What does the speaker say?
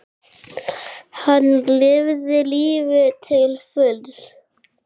Hann lifði lífinu til fulls.